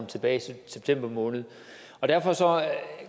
tilbage i september måned derfor